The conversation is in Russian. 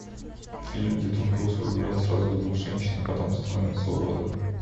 фильм где том круз влюблен сразу в двух женщин а потом становится уродом